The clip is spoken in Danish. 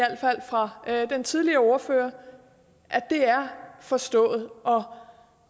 alt fald fra den tidligere ordfører at det er forstået